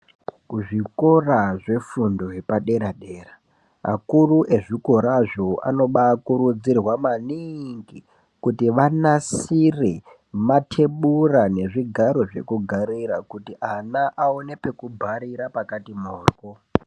Kuzvikora zvefundo yepadera-dera, akuru ezvikorazvo anobaakurudzirwa maniiingi, kuti vanasire mathebura nezvigaro zvekugarira, kuti ana aone pekubharira pakati moryo.